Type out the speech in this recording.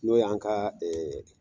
N'o yan ka ee